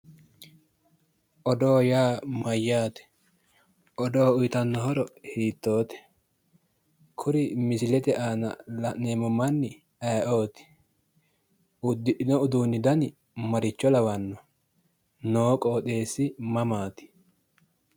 odoo yaa mayyaate?, odoo uyiitanno horo hiittoote?, kuri misilete aana la'neemmo manni ayeeooti ?,uddidhino uduunni dani maricho lawanno?, noo qooxeessi mamaati?